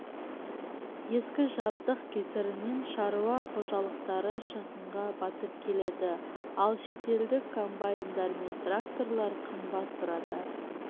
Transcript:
ескі жабдық кесірінен шаруа қожалықтары шығынға батып келеді ал шетелдік комбайндар мен тракторлар қымбат тұрады